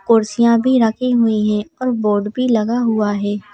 कुर्सियां भी रखी हुई हैं और बोर्ड भी लगा हुआ है।